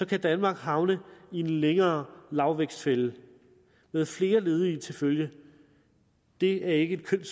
kan danmark havne i en længerevarende lavvækstfælde med flere ledige til følge det er ikke et kønt